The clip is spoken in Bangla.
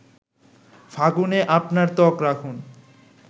ফাগুনে আপনার ত্বক রাখুন